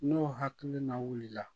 N'o hakili na wuli la